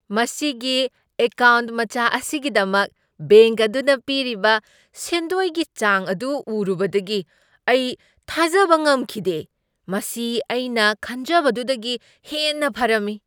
ꯃꯁꯤꯒꯤ ꯑꯦꯀꯥꯎꯟꯠ ꯃꯆꯥ ꯑꯁꯤꯒꯤꯗꯃꯛ ꯕꯦꯡꯛ ꯑꯗꯨꯅ ꯄꯤꯔꯤꯕ ꯁꯦꯟꯗꯣꯏꯒꯤ ꯆꯥꯡ ꯑꯗꯨ ꯎꯔꯨꯕꯗꯒꯤ ꯑꯩ ꯊꯥꯖꯕ ꯉꯝꯈꯤꯗꯦ ꯫ ꯃꯁꯤ ꯑꯩꯅ ꯈꯟꯖꯕꯗꯨꯗꯒꯤ ꯍꯦꯟꯅ ꯐꯔꯝꯃꯤ ꯫